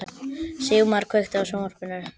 Sigmar, kveiktu á sjónvarpinu.